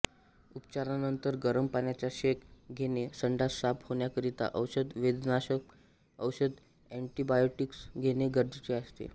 उपचारानंतर गरम पाण्याचा शेक घेणे संडास साफ होण्याकरिता औषधे वेदनाशामक औषधे अंन्टिबॉयोटिक्स घेणे गरजेचे असते